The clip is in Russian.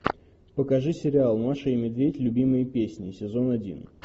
покажи сериал маша и медведь любимые песни сезон один